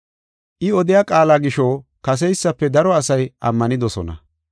I odiya qaala gisho kaseysafe daro asay ammanidosona.